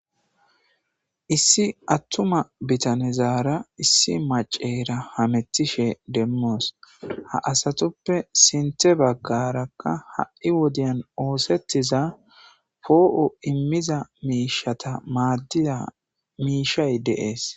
Issi attuma bitanezaara issi maCceera hamettishe demmoos. Ha asatuppe sintTe baggaarakka ha7i wodiyan oosettiza poo7o immiza miishata maaddiza miishay de'ees.